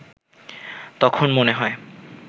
তখন মনে হয়